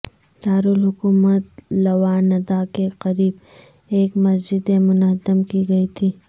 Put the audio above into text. دارالحکومت لواندا کے قریب ایک مسجد منہدم کی گئی تھی